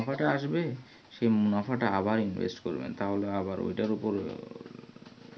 মুনাফাটা আসবে সেই মুনাফাটা আবার invest করবেন তাহলে আবার ওটার ওপর